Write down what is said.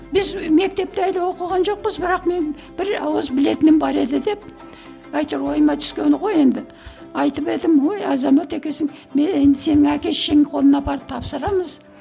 біз мектепте әлі оқыған жоқпыз бірақ мен бір ауыз білетінім бар еді деп әйтеуір ойыма түскені ғой енді айтып едім ой азамат екенсің мен енді сені әке шешеңнің қолына апарып тапсырамыз